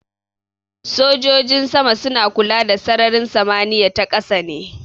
Sojojin sama suna kula da sararin samaniya ta ƙasa ne.